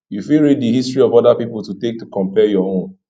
you fit read di history of oda pipo to take compare your own